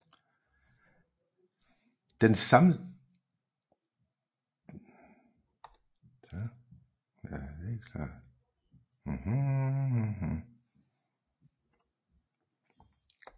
Dens samlede længde var 18 km